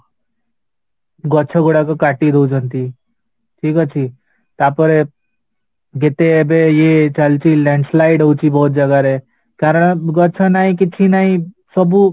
ଗଛ ଗୁଡାକ କାଟି ଦେଉଛନ୍ତି ଠିକ ଅଛି ତାପରେ ଯେତେ ଏବେ ଇଏ ଚାଲିଛି landslide ହଉଚି ବହୁତ ଜାଗାରେ କାରଣ ଗଛ ନାହିଁ କିଛି ନାହିଁ ସବୁ